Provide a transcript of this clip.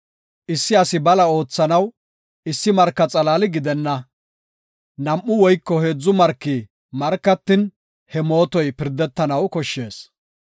Issi asi bala oothanaw issi marka xalaali gidenna. Nam7u woyko heedzu marki markatin, he mootoy pirdetanaw koshshees.